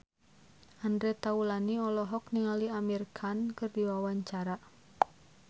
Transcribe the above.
Andre Taulany olohok ningali Amir Khan keur diwawancara